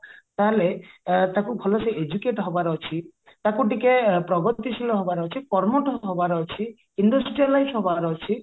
ତାହେଲେ ତାକୁ ଭଲସେ educate ହବାର ଅଛି ତାକୁ ଟିକେ ପ୍ରଗତି ଶୀଳ ହବାର ଅଛି କର୍ମଠ ହବାର ଅଛି ହବାର ଅଛି